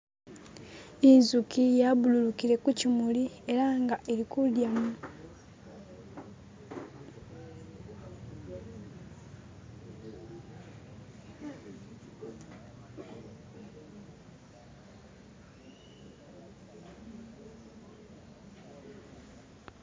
inzuki yabululukile kukyimuli elanga ilikudya